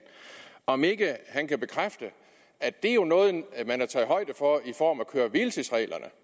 om ikke han kan bekræfte at det jo er noget man har taget højde for i form af køre hvile tids reglerne